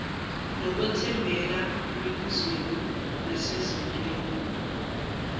ngokwethembeka emibuzweni nasezintweni